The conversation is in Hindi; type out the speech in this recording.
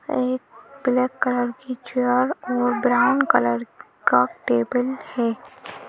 एक ब्लैक कलर की चेयर और ब्राउन कलर का टेबल है।